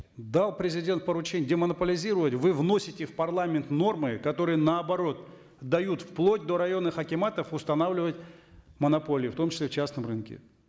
дал президент поручение демонополизировать вы вносите в парламент нормы которые наоборот дают вплоть до районных акиматов устанавливать монополию в том числе в частном рынке